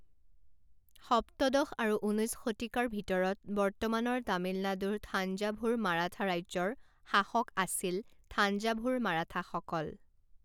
সপ্তদশ আৰু ঊনৈছ শতিকাৰ ভিতৰত বৰ্তমানৰ তামিলনাডুৰ থাঞ্জাভুৰ মাৰাঠা ৰাজ্যৰ শাসক আছিল থাঞ্জাভুৰ মাৰাঠাসকল।